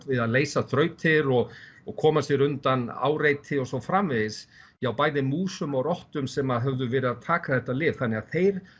við að leysa þrautir og og koma sér undan áreiti og svo framvegis hjá bæði músum og rottum sem höfðu verið að taka þetta lyf þannig að þeir